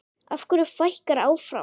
Af hverju fækkar áfram?